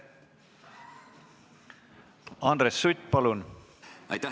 Andres Sutt, palun!